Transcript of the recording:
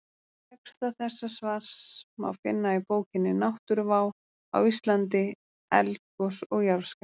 Texta þessa svars má finna í bókinni Náttúruvá á Íslandi: Eldgos og jarðskjálftar.